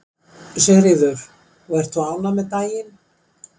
Sigríður: Og ert þú ánægð með daginn?